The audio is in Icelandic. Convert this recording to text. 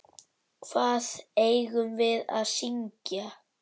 Hvað eigum við að syngja?